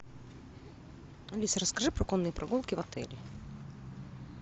алиса расскажи про конные прогулки в отеле